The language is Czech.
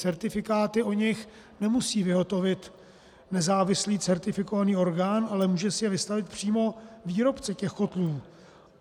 Certifikáty o nich nemusí vyhotovit nezávislý certifikovaný orgán, ale může si je vystavit přímo výrobce těch kotlů.